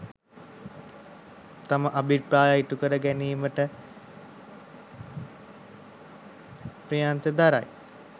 තම අභිප්‍රාය ඉටුකර ගැනීමට ප්‍රයත්න දරති.